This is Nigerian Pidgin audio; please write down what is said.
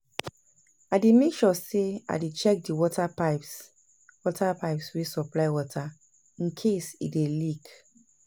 I dey mek sure say I dey check di water pipes water pipes wey supply water incase e dey leak